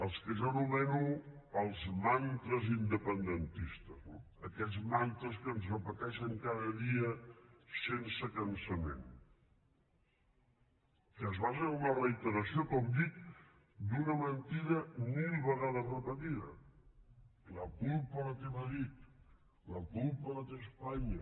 els que jo anomeno els mantres independentistes no aquests mantres que ens repeteixen cada dia sense cansament que es basen en una reiteració com dic d’una mentida mil vegades repetida la culpa la té madrid la culpa la té espanya